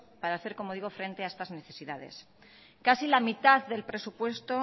para hacer como digo frente a estas necesidades casi la mitad del presupuesto